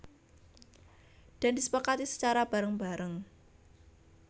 Dan disepakati secara bareng bareng